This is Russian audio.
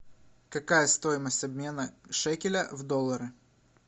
какая стоимость обмена шекеля в доллары